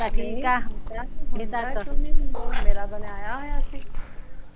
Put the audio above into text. ਹੁੰਦਾ ਕਿਓ ਨੀ ਹੁੰਦਾ ਮੇਰਾ ਬਣਿਆ ਆਇਆ ਹੋਇਆ ਸੀ